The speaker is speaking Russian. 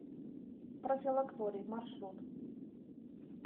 профилакторий маршрут